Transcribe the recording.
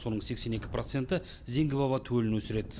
соның сексен екі проценті зеңгі баба төлін өсіреді